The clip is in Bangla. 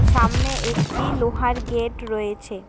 সামনে একটি লোহার গেট রয়েছে।